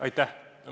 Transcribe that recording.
Aitäh!